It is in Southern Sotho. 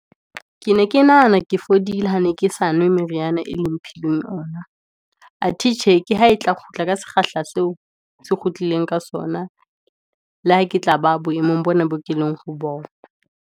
Ke ne ke nahana ke fodile, ha ne ke sa nwe meriana e le mphileng yona. Athe tjhe, ke ha e tla kgutla ka sekgahla seo, se kgutleleng ka sona, le ha ke tla ba boemong bona boo ke leng ho bona.